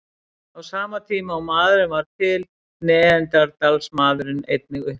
Á sama tíma og maðurinn varð til var neanderdalsmaðurinn einnig uppi.